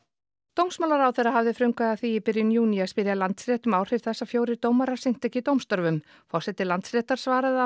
dómsmálaráðherra hafði frumkvæði að því í byrjun júní að spyrja Landsrétt um áhrif þess að fjórir dómarar sinntu ekki dómstörfum forseti Landsréttar svaraði að